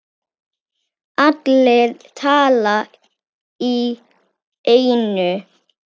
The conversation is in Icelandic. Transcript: Allir tala í einu.